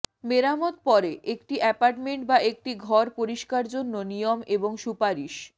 মেরামত পরে একটি অ্যাপার্টমেন্ট বা একটি ঘর পরিষ্কার জন্য নিয়ম এবং সুপারিশ